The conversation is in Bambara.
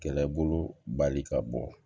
Kɛlɛbolo bali ka bɔ